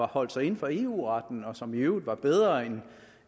holdt sig inden for eu retten og som i øvrigt var bedre end den